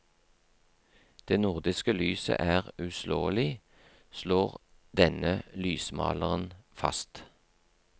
Det nordiske lyset er uslåelig, slår denne lysmaleren fast.